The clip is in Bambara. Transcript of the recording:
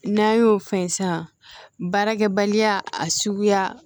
N'an y'o fɛn san baarakɛbaliya a suguya